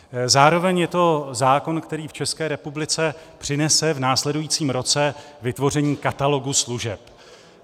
Zároveň je to zákon, který v České republice přinese v následujícím roce vytvoření katalogu služeb.